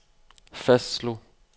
fastslog